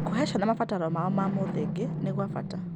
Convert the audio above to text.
Gũcihe ciana mabataro mao ma mũthingi nĩ gwa bata.